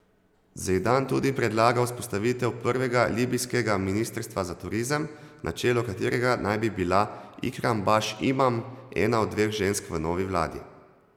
Zejdan tudi predlaga vzpostavitev prvega libijskega ministrstva za turizem, na čelu katerega naj bi bila Ikram Baš Imam, ena od dveh žensk v novi vladi.